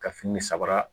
Ka fini samara